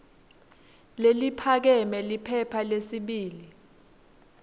leliphakeme liphepha lesibili